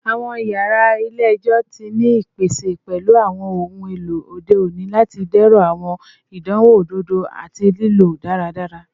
Awọn yara ile-ẹjọ ti ni ipese pẹlu awọn ohun elo ode oni lati dẹrọ awọn idanwo ododo ati lilo daradara